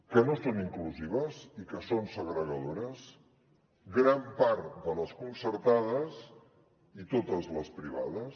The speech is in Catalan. que no són inclusives i que són segregadores gran part de les concertades i totes les privades